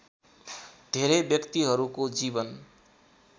धेरै व्यक्तिहरूको जीवन